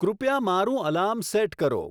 કૃપયા મારું alarm set કરો